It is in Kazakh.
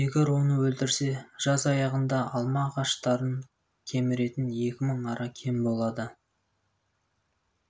егер оны өлтірсе жаз аяғында алма ағаштарын кеміретін екі мың ара кем блады